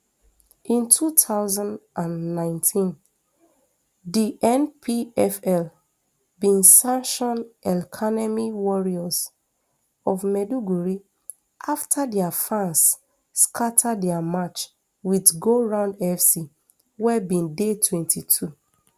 in two thousand and nineteen di npfl bi santion elkanemi warriors of maiduguri afta dia fans skata dia match wit goround fc wey bin dey twenty-two